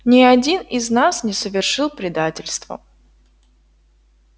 ни один из нас не совершил предательства